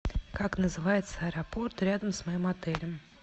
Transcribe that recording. как называется аэропорт рядом с моим отелем